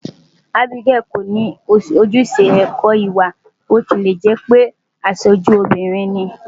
Abigail kò ní ojúṣe ẹ̀kọ́-ìwà bí ó tilẹ̀ jẹ́ pé aṣojú lóbìnrin ni.